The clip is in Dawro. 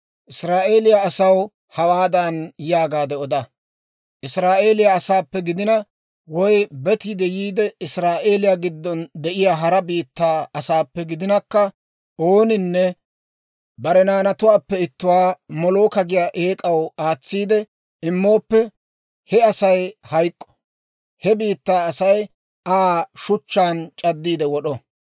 «Israa'eeliyaa asaw hawaadan yaagaade oda, ‹Israa'eeliyaa asaappe gidina, woy betiide yiide Israa'eeliyaa giddon de'iyaa hara biittaa asaappe gidinakka, ooninne bare naanatuwaappe ittuwaa Molooka giyaa eek'aw aatsiide immooppe, he Asay hayk'k'o; he biittaa Asay Aa shuchchaan c'addiide wod'o.